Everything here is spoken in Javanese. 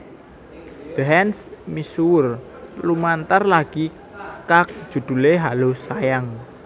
The Hands misuwur lumantar lagi kag judhulé Hallo Sayang